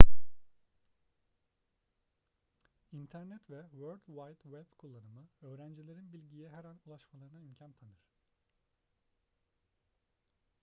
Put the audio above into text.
i̇nternet ve world wide web kullanımı öğrencilerin bilgiye her an ulaşmalarına imkan tanır